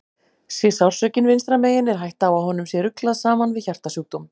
Sé sársaukinn vinstra megin er hætta á að honum sé ruglað saman við hjartasjúkdóm.